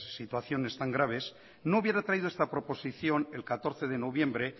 situaciones tan graves no hubiera traído esta proposición el catorce de noviembre